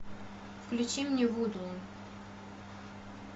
включи мне вуду